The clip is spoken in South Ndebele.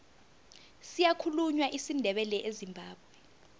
siyakhulunywa isindebele ezimbabwe